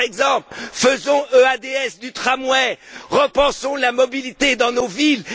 Par exemple, faisons l'EADS du tramway, repensons la mobilité dans nos villes.